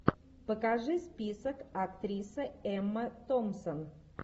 покажи список актриса эмма томпсон